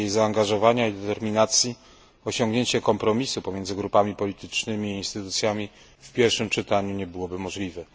Bez jej zaangażowania i determinacji osiągnięcie kompromisu pomiędzy grupami politycznymi i instytucjami w pierwszym czytaniu nie byłoby możliwe.